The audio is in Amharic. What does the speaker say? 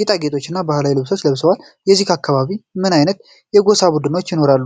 ጌጣጌጥ እና ባህላዊ ልብስ ለብሰዋል። በዚህ አካባቢ ምን አይነት የጎሳ ቡድኖች ይኖራሉ?